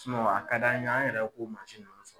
a ka d'an ye an yɛrɛ k'o mansin